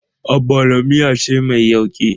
Ogbono miya ce mai yauƙi.